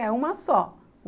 É uma só.